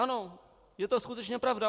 Ano, je to skutečně pravda.